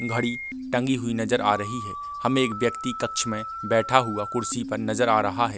घड़ी टंगी हुई नज़र आ रही है हमे एक व्यक्ति कक्ष मे बैठ हुआ कुर्सी पर नज़र आ रहा है।